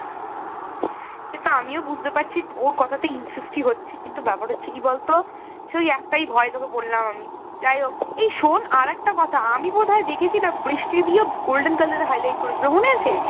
সে তো আমিও বুঝতে পারছি তোর কথাতে insist ই হচ্ছি কিন্তু ব্যাপার হচ্ছে কি বলতো সেই একটাই ভয় তোকে বললাম আমি যাই হোক এই শোন আরেকটা কথা আমি বোধ হয় দেখেছিলাম বৃষ্টিদিও golden color এর highlight করিয়েছিলো মনে আছে?